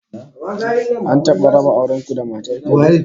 An taba raba auren ku da matar ka ne?